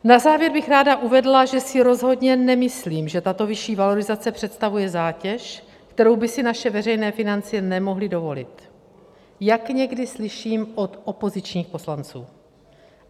Na závěr bych ráda uvedla, že si rozhodně nemyslím, že tato vyšší valorizace představuje zátěž, kterou by si naše veřejné finance nemohly dovolit, jak někdy slyším od opozičních poslanců.